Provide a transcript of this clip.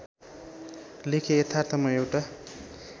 लेखे यथार्थमा एउटा